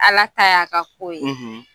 Ala ta y'a ka kow ye